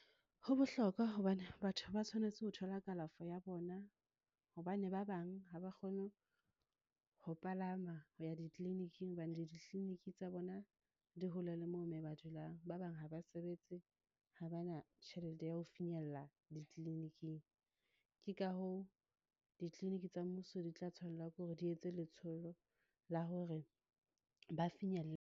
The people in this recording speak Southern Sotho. Ho bohlokwa hobane batho ba tshwanetse ho thola kalafo ya bona. Hobane ba bang ha ba kgone ho palama ho ya di-clinic-ing hobane ditliliniki tsa bona di hole le moo mo ba dulang moo. Ba bang ha ba sebetse ha ba na tjhelete ya ho finyella di-clinic-ing. Ke ka hoo, di-clinic tsa mmuso di tla tshwanela ke hore di etse letsholo la hore ba .